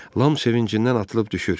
Lam sevincindən atılıb düşür.